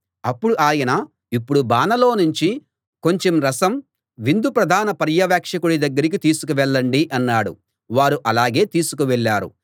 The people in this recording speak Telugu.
అప్పుడు ఆయన ఇప్పుడు బానలో నుంచి కొంచెం రసం విందు ప్రధాన పర్యవేక్షకుడి దగ్గరికి తీసుకువెళ్ళండి అన్నాడు వారు అలాగే తీసుకువెళ్ళారు